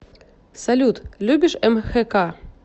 салют любишь мхк